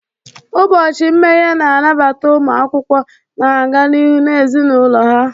Ụbọchị mmeghe na-anabata ụmụ akwụkwọ na-aga n'ihu na ezinụlọ ha.